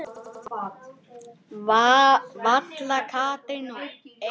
Vala, Katrín og Einar.